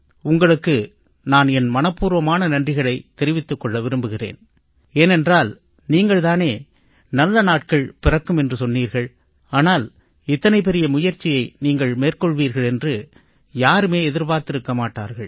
உங்களுக்கு நான் என் மனப்பூர்வமான நன்றிகளைத் தெரிவித்துக் கொள்ள விரும்புகிறேன் ஏனென்றால் நீங்கள் தானே நல்ல நாட்கள் பிறக்கும் என்று சொன்னீர்கள் ஆனால் இத்தனை பெரிய முயற்சியை நீங்கள் மேற்கொள்வீர்கள் என்று யாருமே எதிர்பார்த்திருக்க மாட்டார்கள்